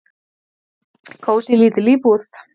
"""Kósí, lítil íbúð."""